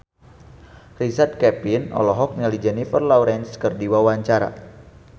Richard Kevin olohok ningali Jennifer Lawrence keur diwawancara